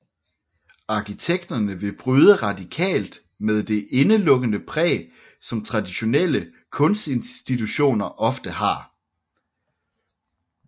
Arkitekterne ville bryde radikalt med det indelukkede præg som traditionelle kunstinstitutioner ofte har